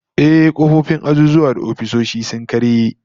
Ehh, kofofin azuzuwa da ofisoshi sun karye